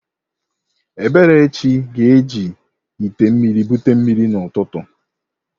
Eberechi ga-eji ite mmiri bute mmiri n'ụtụtụ